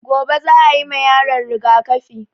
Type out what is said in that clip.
Gobe za a yima yaron rigaƙafi